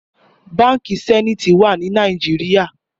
Bànkí Sènítì wà ni Nàijiriá